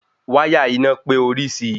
Wáyà iná pé orisi